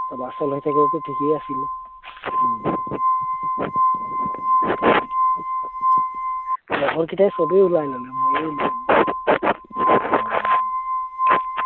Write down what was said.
চলাচল হৈ থাকিলেটো থিকেই আছিলে লগৰ কেইটাই সবেই ওলাই ললে মইহে ওলিওৱা নাই